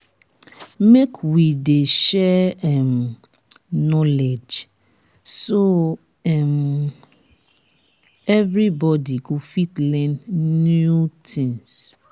make we dey share um knowledge so um everybody go fit learn new things.